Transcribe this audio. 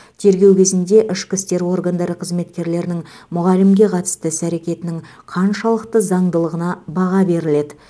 тергеу кезінде ішкі істер органдары қызметкерлерінің мұғалімге қатысты іс әрекетінің қаншалықты заңдылығына баға беріледі